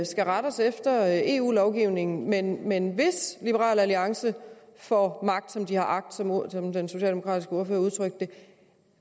skal rette os efter eu lovgivningen men men hvis liberal alliance får magt som de har agt som den socialdemokratiske ordfører udtrykte det